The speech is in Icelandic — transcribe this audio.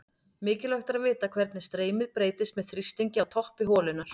Mikilvægt er að vita hvernig streymið breytist með þrýstingi á toppi holunnar.